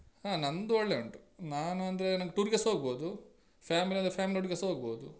ಹಾ ನಂದು ಒಳ್ಳೆ ಉಂಟು ನಾನು ಅಂದ್ರೆ ನಾನ್ tour ಗೆಸ ಹೋಗ್ಬೋದು family ಅಂದ್ರೆ family ಒಟ್ಟಿಗೆಸ ಹೊಗ್ಬೋದು.